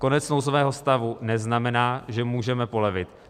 Konec nouzového stavu neznamená, že můžeme polevit.